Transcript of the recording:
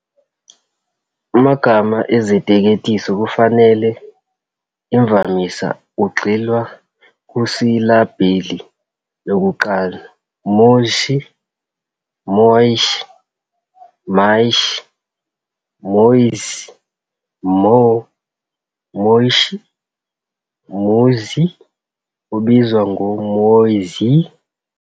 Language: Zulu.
Amagama eziteketiso kufanele, imvamisa kugxilwa kusilabhili yokuqala, Moishe, Moysh, Maish, Moeez, Mo, Moyshee, Musie, obizwa ngoMooziyeh.